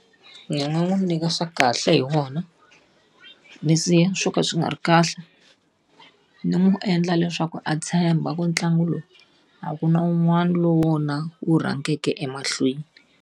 Ndzi nga n'wi nyika swa kahle hi wona, ndzi siya swo ka swi nga ri kahle. Ndzi n'wi endla leswaku a tshemba ku ntlangu lowu a ku na un'wana lowu wu rhangaka emahlweni.